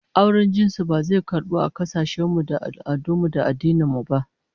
Auren jinsi ba zai karbu a kasashen mu da al'adun mu da addinan mu ba